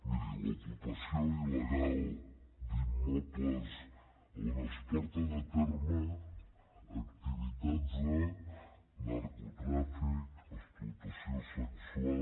miri l’ocupació il·legal d’immobles on es porten a terme activitats de narcotràfic explotació sexual